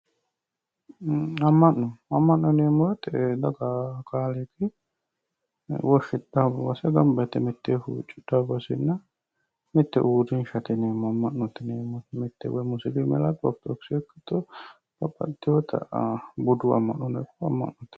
Ama'no, ama'no yineemmo woyte babbaxitino daga kaaliqi woshshidhano basse mitteenni gamba yte huccidhano basenna mitte uurrinshate yineemmoti mite woyi musilime ikkitto orthodokkise ikkitto budu ama'nonno ikkitto ama'note